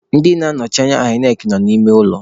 Ndị na-anọchite anya INEC nọ n'ime ụlọ.